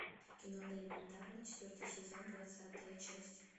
кино элементарно четвертый сезон двадцатая часть